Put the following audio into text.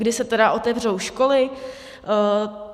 Kdy se tedy otevřou školy?